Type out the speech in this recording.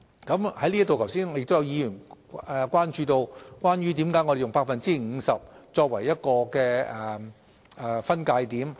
在這方面，剛才亦有議員關注到為何我們以 50% 作為分界點。